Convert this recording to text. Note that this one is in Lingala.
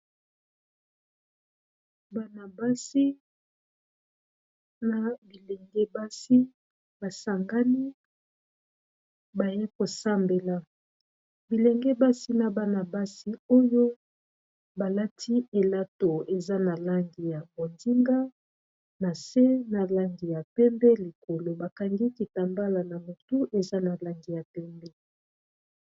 Bana basi na bilenge basi basangani baye kosambela bilenge basi na bana-basi oyo balati elato eza na langi ya bonzinga na se na langi ya pembe likolo bakangi kitambala na motu eza na langi ya pembe.